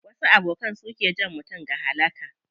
Wasu abokan su ke jan mutum ga halaka.